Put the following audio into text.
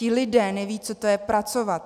Ti lidé nevědí, co to je pracovat.